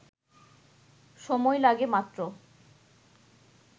সময় লাগে মাত্র